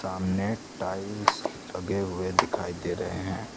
सामने टाइल्स लगे हुए दिखाई दे रहे हैं।